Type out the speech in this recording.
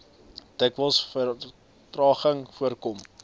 dikwels vertragings voorkom